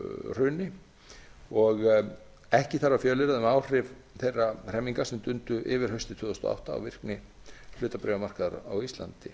hruni ekki þarf að fjölyrða um áhrif þeirra hremminga sem dundu yfir haustið tvö þúsund og átta og virkni hlutabréfamarkaðar á íslandi